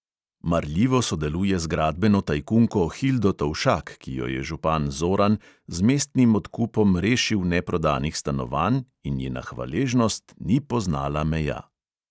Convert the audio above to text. Marljivo sodeluje z gradbeno tajkunko hildo tovšak, ki jo je župan zoran z mestnim odkupom rešil neprodanih stanovanj in njena hvaležnost ni poznala meja.